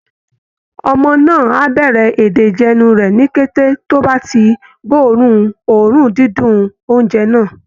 Ọmọ náà á bẹ̀rẹ̀ èdè ìjẹnu rẹ̀ ní kété tó bá ti gbóòórùn oòrùn dídùn oúnjẹ náà